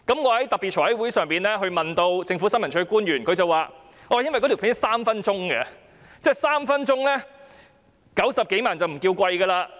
我在特別財務委員會的會議上向政府新聞處的官員提問，他們的回應時該短片長達3分鐘 ，90 多萬元的製作費用已不算貴。